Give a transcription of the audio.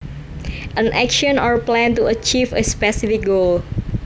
An action or plan to achieve a specific goal